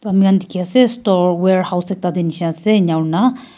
toh amihan dikhi ase store warehouse ekta te nishina ase enya aurna.